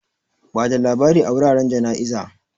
Bada labari a wuraren jana'iza.